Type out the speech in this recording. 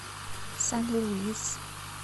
сан луис